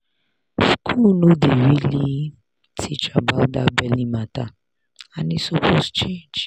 school no dey really teach about that belle matter and e suppose change.